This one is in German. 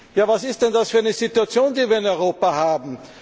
Ja was ist denn das für eine Situation, die wir in Europa haben?